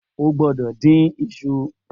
O gbọdọ̀ dín iṣu